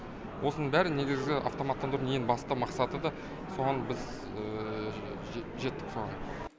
осының бәрі негізгі автоматтандырудың ең басты мақсаты да соған біз жеттік соған